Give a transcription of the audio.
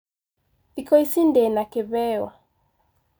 Thikũ ici ndĩna kĩheo.